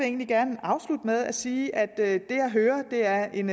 egentlig gerne afslutte med at sige at det jeg hører er en